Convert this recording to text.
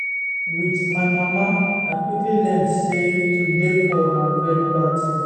wit my mama i quickly learn say to dey poor na very bad tin